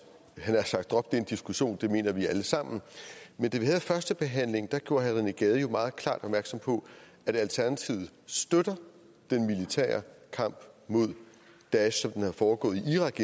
havde sagt droppe den diskussion for det mener vi alle sammen men da vi havde førstebehandlingen gjorde herre rené gade jo meget klart opmærksom på at alternativet støtter den militære kamp mod daesh som den er foregået i irak